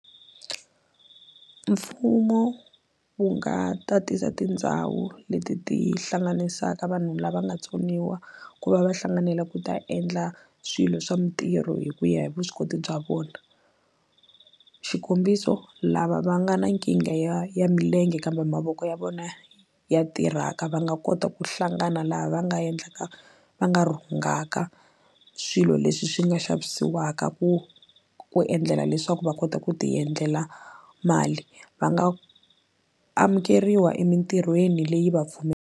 Mfumo wu nga tatisa tindhawu leti ti hlanganisaka vanhu lava nga tsoniwa ku va va hlanganela ku ta endla swilo swa mintirho hi ku ya hi vuswikoti bya vona xikombiso lava va nga na nkingha ya ya milenge kambe mavoko ya vona ya tirhaka va nga kota ku hlangana laha va nga endlaka va nga rhungaka swilo leswi swi nga xavisiwaka ku ku endlela leswaku va kota ku ti endlela mali va nga amukeriwa emintirhweni leyi va .